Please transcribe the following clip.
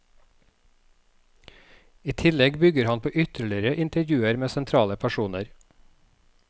I tillegg bygger han på ytterligere intervjuer med sentrale personer.